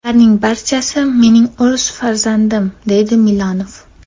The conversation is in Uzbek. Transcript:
Ularning barchasi mening o‘z farzandim”, deydi Milonov.